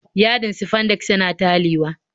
Yadin sifandex yana talewa